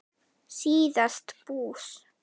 síðast bús.